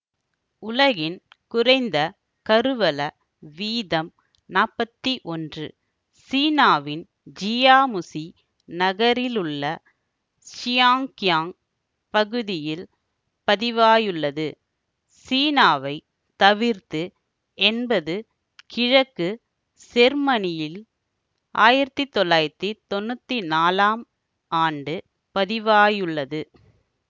உலகின் குறைந்த கருவள வீதம் நாப்பத்தி ஒன்று சீனாவின் ஜியாமுசி நகரிலுள்ள சியாங்கியாங்க் பகுதியில் பதிவாயுள்ளது சீனாவை தவிர்த்து என்பது கிழக்கு செர்மனியில் ஆயிரத்தி தொள்ளாயிரத்தி தொன்னூத்தி நாலாம் ஆண்டு பதிவாயுள்ளது